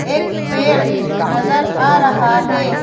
एक पेड़ नजर आ रहा हे ।